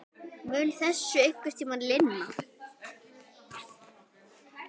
Mun þessu einhvern tímann linna?